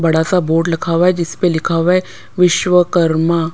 बड़ा सा बोर्ड लखा हुआ है जिस पे लिखा हुआ है विश्वकर्मा --